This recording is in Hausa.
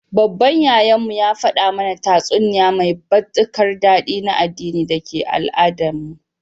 Baban Yayan mu, ya fada mana tatsuniya mai batikar dadi na addini dake Al-Adan mu.